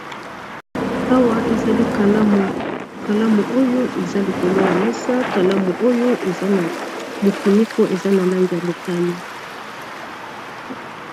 awa ezali kalamu kalamu oyo eza likolo ya mesa kalamu oyo eza na mofiniko eza na lange ya motani